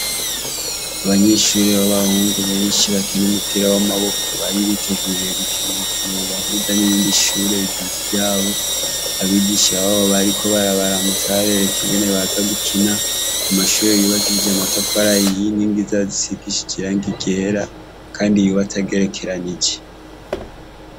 Abanyeshure b'abahungu benshi bakina umupira w'amaboko bari biteguriye gukina umukino ubahuza n'irindi shure rigenzi ryabo. Abigisha babo bariko barabaramutsa babereka ingene baza gukina, mu mashure yubakishije amatafari ahiye, inkingi zayo zisigishije irangi ryera kandi yubatse agerekeranije.